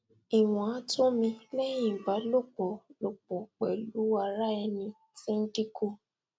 iwon ato mi lehin iba lopo lopo pelu ara eni ti dinku